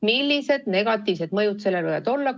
Millised negatiivsed mõjud sellel võivad olla?